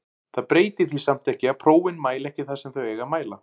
Það breytir því samt ekki að prófin mæla ekki það sem þau eiga að mæla.